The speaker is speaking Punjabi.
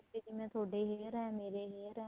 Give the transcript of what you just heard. ਜਿਵੇਂ ਤੁਹਾਡੇ hair ਏ ਮੇਰੇ hair ਏ